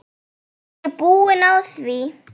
Ég er búin á því.